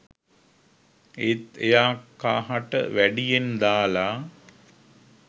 ඒත් එයා කහට වැඩියෙන් දාලා